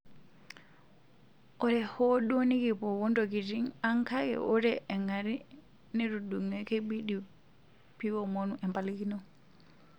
Ore hoo duo nikipwo wontokitin ang kake wore engari netudunge keibidi piwomonu empalikino.